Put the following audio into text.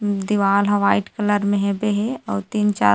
दीवार ह white colour हेबे हे अउ तीन चार--